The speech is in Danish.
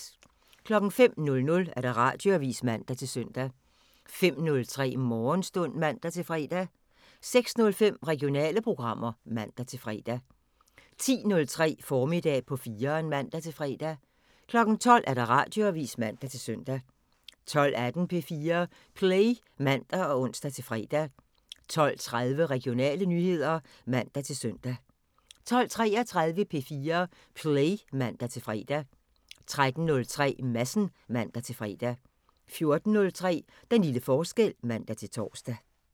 05:00: Radioavisen (man-søn) 05:03: Morgenstund (man-fre) 06:05: Regionale programmer (man-fre) 10:03: Formiddag på 4'eren (man-fre) 12:00: Radioavisen (man-søn) 12:18: P4 Play (man og ons-fre) 12:30: Regionale nyheder (man-søn) 12:33: P4 Play (man-fre) 13:03: Madsen (man-fre) 14:03: Den lille forskel (man-tor)